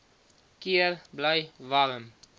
keer bly warm